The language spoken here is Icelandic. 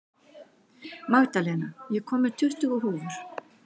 Magdalena, ég kom með tuttugu húfur!